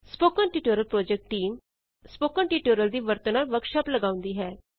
spoken tutorial project team spoken tutorial ਦੀ ਵਰਤੋਂ ਨਾਲ ਵਰਕਸ਼ਾਪ ਲਗਾਉਂਦੀ ਹੈ